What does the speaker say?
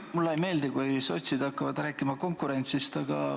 Mulle ei meeldi, kui sotsid hakkavad rääkima konkurentsist.